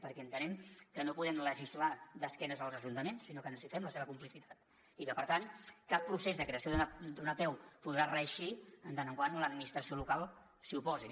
perquè entenem que no podem legislar d’esquena als ajuntaments sinó que necessitem la seva complicitat i que per tant cap procés de creació d’una apeu podrà reeixir mentre l’administració local s’hi oposi